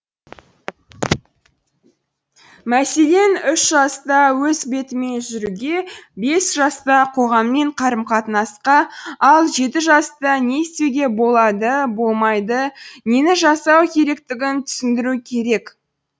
мәселен үш жаста өз бетімен жүруге бес жаста қоғаммен қарым қатынасқа ал жеті жаста не істеуге болады болмайды нені жасау керектігін түсіндіру керек